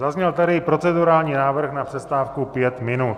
Zazněl tady procedurální návrh na přestávku pět minut.